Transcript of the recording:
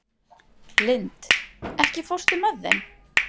Lind, ekki fórstu með þeim?